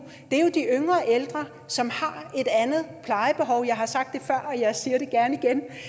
jo er de yngre ældre som har et andet plejebehov jeg har sagt det før og jeg siger det gerne